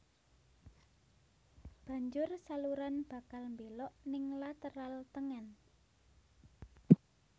Banjur saluran bakal mbelok ning lateral tengen